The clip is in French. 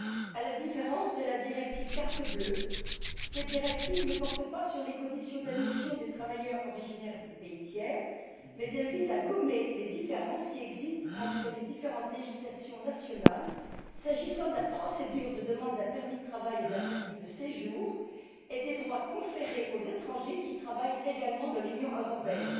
À la différence de la directive carte bleue, cette directive ne porte pas sur les conditions d'admission des travailleurs originaires des pays tiers, mais elle vise à gommer les différences qui existent entre les différentes législations nationales s'agissant de la procédure de demande d'un permis de travail et d'un permis de séjour, et des droits conférés aux étrangers qui travaillent légalement dans l'Union européenne.